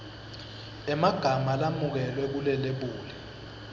emagama lamukelwe kulelebuli